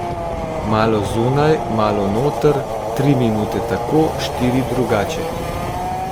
Malo zunaj, malo noter, tri minute tako, štiri drugače.